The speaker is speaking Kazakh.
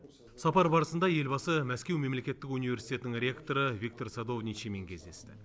сапар барысында елбасы мәскеу мемлекеттік университетінің ректоры виктор садовничиймен кездесті